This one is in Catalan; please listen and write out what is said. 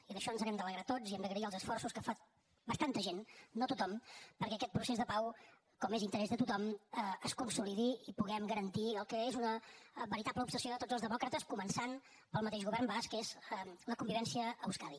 i d’això ens n’hem d’alegrar tots i hem d’agrair els esforços que fa força gent no tothom perquè aquest procés de pau com és interès de tothom es consolidi i puguem garantir el que és una veritable obsessió de tots els demòcrates començant pel mateix govern basc que és la convivència a euskadi